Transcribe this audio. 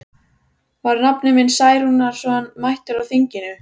Var nafni minn Særúnarson mættur á þinginu?